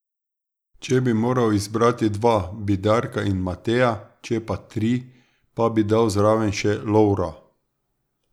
Če bi moral izbrati dva, bi Darka in Mateja, če pa tri, pa bi dal zraven še Lovra.